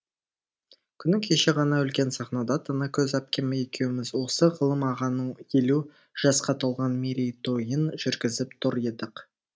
күні кеше ғана үлкен сахнада танакөз әпкем екеуміз осы ғалым ағаның елу жасқа толған мерейтойын жүргізіп тұр едік